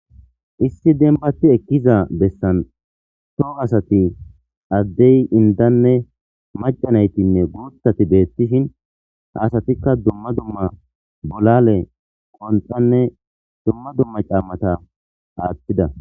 Issi dumi'atti ekkizason addey indanne maca nayttinne guuththtti beettishin ha asattikka dumma dumma bolale.qonxqanne dumma dumma caamata aaththida